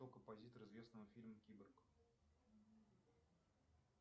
кто композитор известного фильма киборг